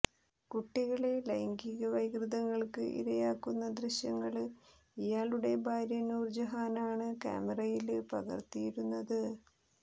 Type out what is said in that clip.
കുട്ടികളെ ലൈംഗിക വൈകൃതങ്ങള്ക്ക് ഇരയാക്കുന്ന ദൃശ്യങ്ങള് ഇയാളുടെ ഭാര്യ നൂര്ജഹാനാണ് കാമറയില് പകര്ത്തിയിരുന്നത്